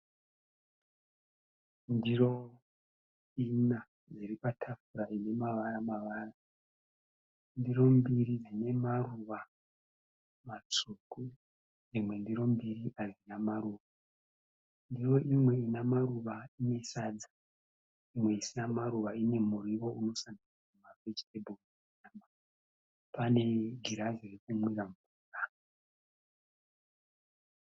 Ndiro ina dziri patafura ine mavara mavara. Ndiro mbiri dzine maruva matsvuku dzimwe ndiro mbiri hadzina maruva. Ndiro imwe ine maruva ine sadza, imwe isina maruva ine muriwo maVeggetable. Pane girazi rekumwira mvura.